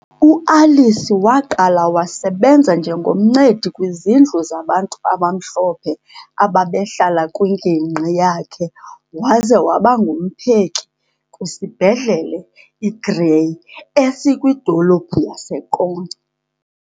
U-Alice waqala wasebenza njengo mncedi kwizindlu zabantu abamhlophe ababehlala kwingingqi yakhe waze wabangumpheki kwisibhedlele i-Grey esikwidolophu yaseQonce.